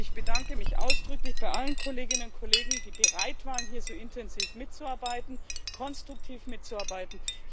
Ich bedanke mich ausdrücklich bei allen Kolleginnen und Kollegen, die bereit waren, hier so intensiv mitzuarbeiten, konstruktiv mitzuarbeiten.